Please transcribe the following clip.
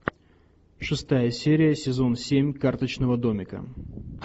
шестая серия сезон семь карточного домика